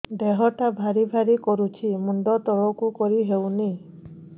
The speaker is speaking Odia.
ଦେହଟା ଭାରି ଭାରି କରୁଛି ମୁଣ୍ଡ ତଳକୁ କରି ହେଉନି